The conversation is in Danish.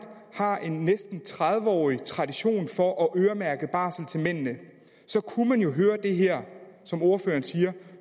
har en næsten tredive årig tradition for at øremærke barsel til mændene kunne man jo høre det her som ordføreren siger